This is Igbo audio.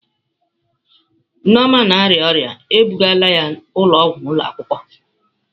Nneoma na-arịa ọrịa, e bugala ya ụlọọgwụ ụlọ akwụkwọ.